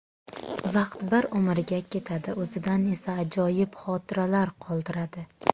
Vaqt bir umrga ketadi, o‘zidan esa ajoyib xotiralar qoldiradi.